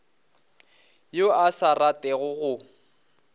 yo a sa ratego go